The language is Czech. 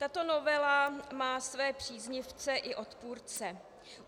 Tato novela má své příznivce i odpůrce.